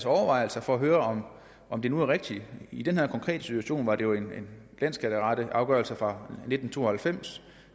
overvejelser for at høre om det nu er rigtigt i den her konkrete situation var det jo en landsskatteretsafgørelse fra nitten to og halvfems